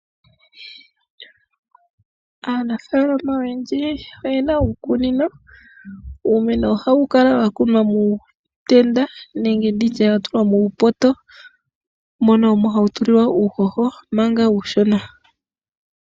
Aanafaalama oyendji oyena uukunino. Uumeno ohawu kala wakunwa muutenda nenge muupoto, mono hawu tulilwa uuhoho manga uushona.